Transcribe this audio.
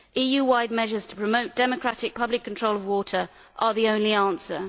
EU wide measures to promote democratic public control of water are the only answer.